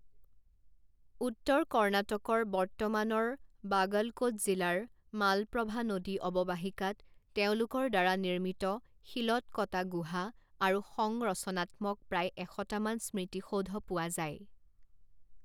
উত্তৰ কৰ্ণাটকৰ বৰ্তমানৰ বাগলকোট জিলাৰ মালপ্ৰভা নদী অৱবাহিকাত তেওঁলোকৰ দ্বাৰা নিৰ্মিত শিলত কটা গুহা আৰু সংৰচনাত্মক প্ৰায় এশটামান স্মৃতিসৌধ পোৱা যায়।